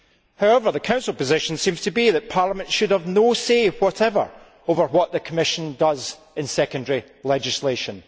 However, the Council's position seems to be that Parliament should have no say whatever over what the Commission does in secondary legislation.